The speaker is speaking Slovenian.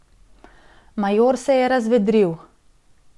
Major se je razvedril.